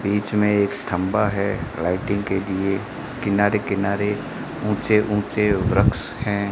बीच में एक थंबा है लाइटिंग के लिए किनारे किनारे ऊंचे ऊंचे वृक्ष हैं।